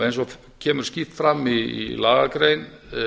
eins og kemur skýrt fram í lagagrein